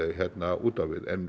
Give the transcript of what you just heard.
út á við en